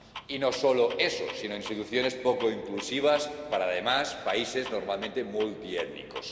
Y no solo eso, sino instituciones poco inclusivas para, además, países normalmente multiétnicos.